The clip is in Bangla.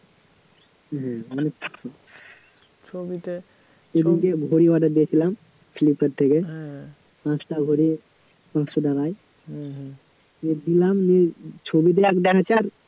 হম এরমধ্যে ঘড়ি order দিয়েছিলাম ফ্লিপকার্ট থেকে পাঁচটা ঘড়ি পাঁচশো টাকায় হম হম দিয়ে পেলাম, দিয়ে ছবিতে এক দেখাচ্ছে আর